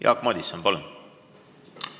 Jaak Madison, palun!